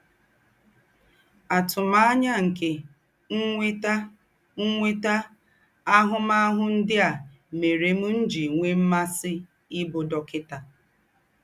Àtùmànyà nke ínwètà ínwètà àhụ̀m̀àhụ̀ ńdị́ à mèrè m̀ jì nwè m̀másị̀ íbụ̀ dọ́kịtà.